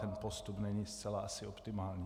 Ten postup není asi zcela optimální.